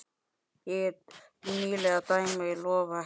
Nýleg dæmi lofa ekki góðu.